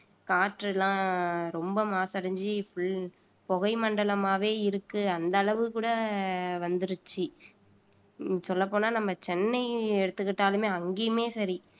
காற்றெல்லாம் ரொம்ப மாசடைஞ்சு full புகை மண்டலமாவே இருக்கு அந்த அளவு கூட வந்திடுச்சு சொல்லப் போனா நம்ம சென்னை எடுத்துக்கிட்டாலுமே அங்கேயுமே சரி